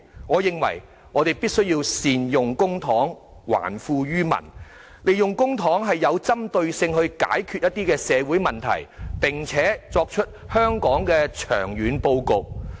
我認為我們必須善用公帑，還富於民，利用公帑針對性地解決一些社會問題，並且為香港作出長遠布局。